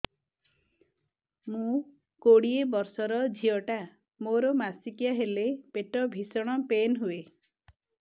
ମୁ କୋଡ଼ିଏ ବର୍ଷର ଝିଅ ଟା ମୋର ମାସିକିଆ ହେଲେ ପେଟ ଭୀଷଣ ପେନ ହୁଏ